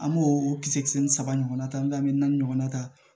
An b'o kisɛ ni saba ɲɔgɔnna ta an be naani ɲɔgɔnna ta